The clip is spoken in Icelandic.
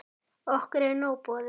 Okkur er nóg boðið